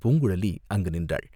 பூங்குழலி அங்கு நின்றாள்.